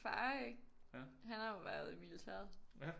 Far ikke han har jo været i militæret